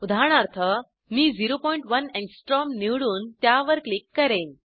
उदाहरणार्थ मी 01 अँगस्ट्रॉम निवडून त्यावर क्लिक करेन